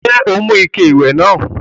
Ṣé o mú ike ìwẹ̀ náà?